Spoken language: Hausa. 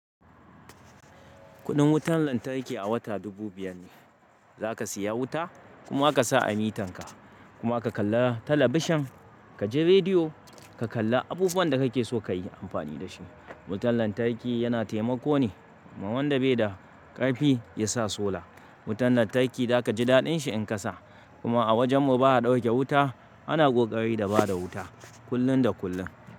Kudin wutan lantarki a wata dubu biyar ne. Zaka siya wuta kuma aka sa a mitan ka kuma aka kalla talabishan kaji rediyo ka kalla abubuwan da kake so kayi amfani da shi. Wutan lantarki yana taimako ne ma wanda bai da karfi yasa solar. Wutan lantarki zaka ji daɗin shi in kasa kuma a wajan mu baya dauke wuta ana kokari da bada wuta kullum da kullum.